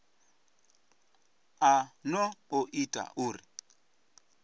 a no o ita uri